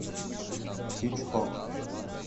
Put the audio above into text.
хичкок